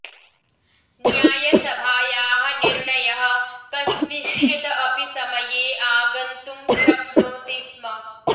न्यायसभायाः निर्णयः कस्मिंश्चित अपि समये आगन्तुं शक्नोति स्म